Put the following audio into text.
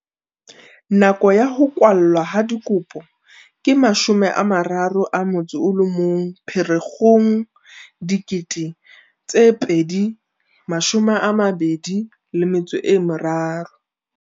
Nako ya ho kwallwa ha dikopo ke 31 Pherekgong 2023.